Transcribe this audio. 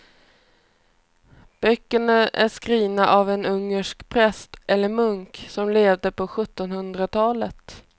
Böckerna är skrivna av en ungersk präst eller munk som levde på sjuttonhundratalet.